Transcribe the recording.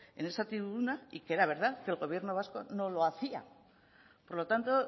en esa tribuna y que era verdad que el gobierno vasco no lo hacía por lo tanto